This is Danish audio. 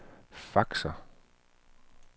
faxer